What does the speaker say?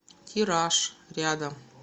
тираж рядом